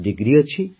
degree ଅଛି